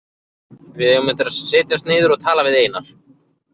Við eigum eftir að setjast niður og tala við Einar.